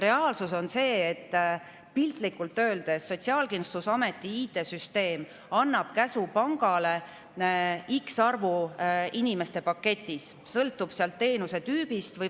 Reaalsus on see, et piltlikult öeldes annab Sotsiaalkindlustusameti IT‑süsteem pangale käsu X arvu inimeste kohta paketis.